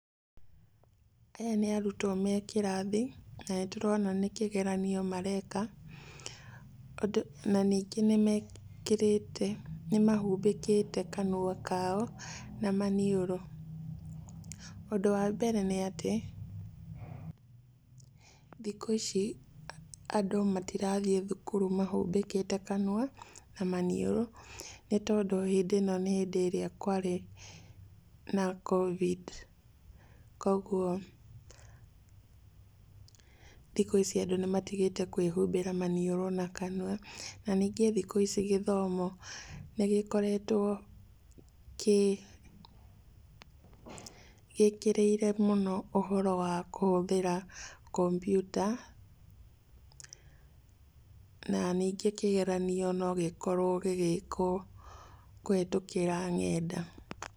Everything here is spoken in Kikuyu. Aya nĩ arutwo me kĩrathi, na nĩ ndĩrona nĩ kĩgeranio mareka, na ningĩ nĩmekĩrĩte nĩ mahumbĩkĩte kanua kao na maniũrũ. Ũndũ wa mbere nĩatĩ, thikũ-ici andũ matirathiĩ thukuru mahumbĩrĩte kanua na maniũrũ, nĩ tondũ hĩndĩ ĩno nĩ ĩrĩa kwarĩ na Covid. Koguo thikũ ici andũ nimatigĩte kwĩhumbĩra maniũrũ na kanua. Na nyingĩ thikũ-ici gĩthomo, nigĩkoretwo gĩkĩrĩire mũno ũhoro wa kũhũthĩra kompyuta, na nyingĩ kĩgeranio no gĩkorwo gĩgĩkwo kũhetũkĩra nenda.